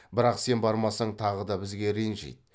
бірақ сен бармасаң тағы да бізге ренжиді